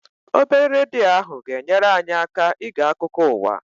Obere redio ahụ ga-enyere anyị aka ige akụkụ ụwa.